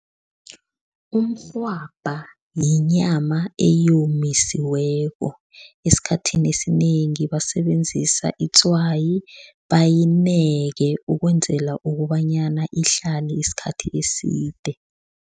Umrhwabha yinyama eyomisiweko, esikhathini esinengi basebenzisa itswayi, bayineke ukwenzela ukobanyana ihlale isikhathi eside.